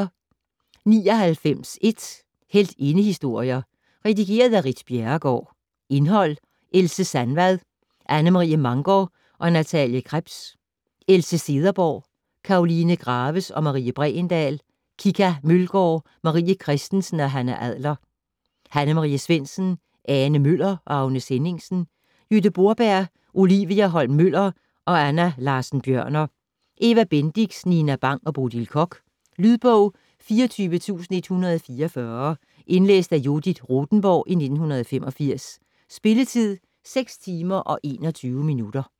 99.1 Heltindehistorier Red. af Ritt Bjerregaard Indhold: Else Sandvad: Anne Marie Mangor og Nathalie Krebs. Else Cederborg: Karoline Graves og Marie Bregendahl. Kika Mølgaard: Marie Christensen og Hanna Adler. Hanne Marie Svendsen: Ane Møller og Agnes Henningsen. Jytte Borberg: Olivia Holm-Møller og Anna Larssen Bjørner. Eva Bendix: Nina Bang og Bodil Koch. Lydbog 24144 Indlæst af Judith Rothenborg, 1985. Spilletid: 6 timer, 21 minutter.